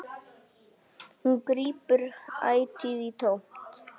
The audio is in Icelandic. Hún grípur ætíð í tómt.